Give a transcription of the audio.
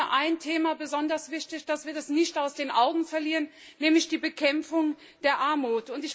Und da ist mir ein Thema besonders wichtig, das wir nicht aus den Augen verlieren dürfen, nämlich die Bekämpfung der Armut.